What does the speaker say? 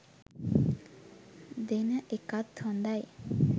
දෙන එකත් හොඳයි.